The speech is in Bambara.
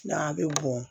N'a bɛ bɔn